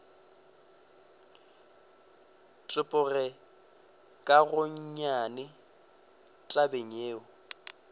tepoge ka gonnyane tabeng yeo